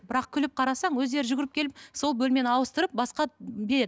бірақ күліп қарасаң өздері жүгіріп келіп сол бөлмені ауыстырып басқа береді